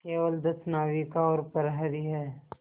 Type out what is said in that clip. केवल दस नाविक और प्रहरी है